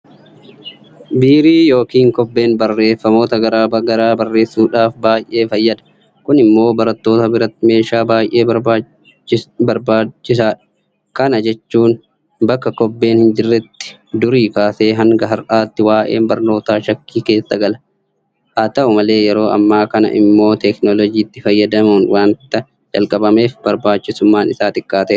Biirii yookiin Kobbeen barreeffamoota garaa garaa barreessuudhaaf baay'ee fayyada. Kun immoo barattoota biratti meeshaa baay'ee barbaadamaadha. Kana jechuun bakka kobbeen hinjirretti durii kaasee hanga har'aatti waa'een barnootaa shakkii keessa gala. Haata'u malee yeroo ammaa kana immoo teekinooloojiitti fayyadamuun waanta jalqabeef barbaachisummaan isaa xiqqaateera.